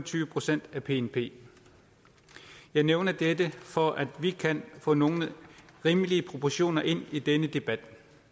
tyve procent af bnp jeg nævner dette for at vi kan få nogle rimelige proportioner ind i denne debat